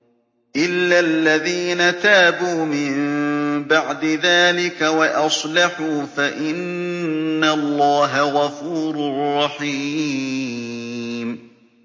إِلَّا الَّذِينَ تَابُوا مِن بَعْدِ ذَٰلِكَ وَأَصْلَحُوا فَإِنَّ اللَّهَ غَفُورٌ رَّحِيمٌ